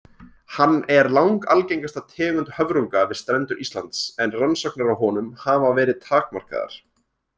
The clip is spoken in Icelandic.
Hann er langalgengasta tegund höfrunga við strendur Íslands en rannsóknir á honum hafa verið takmarkaðar.